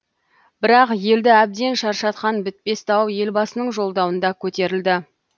бірақ елді әбден шаршатқан бітпес дау елбасының жолдауында көтерілді